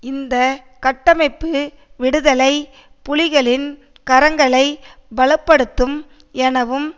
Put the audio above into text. இந்த கட்டமைப்பு விடுதலை புலிகளின் கரங்களை பல படுத்தும் எனவும்